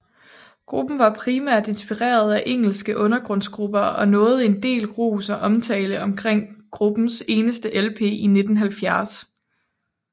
Gruppen var primært inspireret af engelske undergrundsgrupper og opnåede en del ros og omtale omkring gruppens eneste LP i 1970